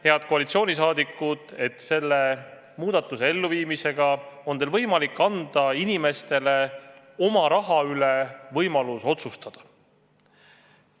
Head koalitsiooniliikmed, te ütlete, et selle muudatuse elluviimisega annate te inimestele võimaluse oma raha üle otsustada.